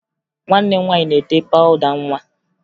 Nwanne m nwaanyị na-ete pawụda nwa